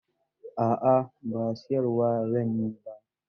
A'a ba siyar wa zan yi ba.